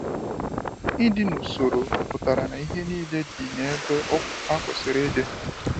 Ịdị n’usoro pụtara na ihe niile dị n’ebe ha kwesiri ịdị.